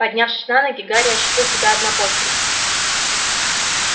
поднявшись на ноги гарри ощутил себя однобоким